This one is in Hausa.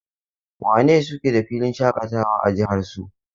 Wane ne suke da filin shaƙatawa a jihar su?